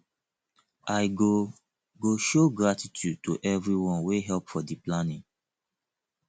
i go go show gratitude to everyone wey help for di planning